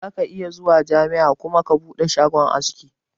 Zaka iya zuwa jami'a kuma ka bude shagon aski